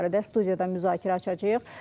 Bu barədə studiyada müzakirə açacağıq.